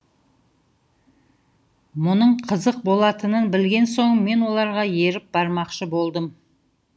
мұның қызық болатынын білген соң мен оларға еріп бармақшы болдым